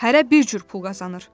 Hərə bir cür pul qazanır.